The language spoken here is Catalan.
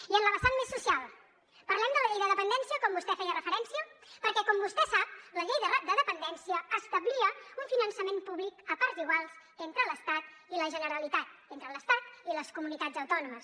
i en la vessant més social parlem de la llei de dependència com vostè hi feia referència perquè com vostè sap la llei de dependència establia un finançament públic a parts iguals entre l’estat i la generalitat entre l’estat i les comunitats autònomes